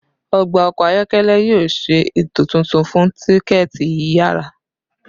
Ọgba ọkọ ayọkẹlẹ yoo ṣe eto tuntun fun tikẹti yiyara